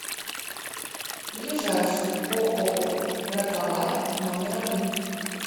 ближайший ооо раковая номер один